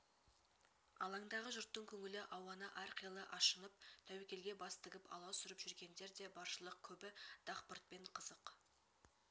алаңдағы жұрттың көңілі ауаны әрқилы ашынып тәуекелге бас тігіп аласұрып жүргендер де баршылық көбі дақпыртпен қызық